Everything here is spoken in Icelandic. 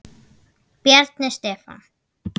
Bjarni Stefán.